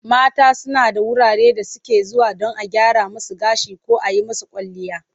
Mata suna da wurare da suke zuwa don a gyra musu gashi ko a yi musu kwalliya.